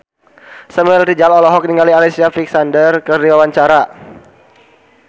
Samuel Rizal olohok ningali Alicia Vikander keur diwawancara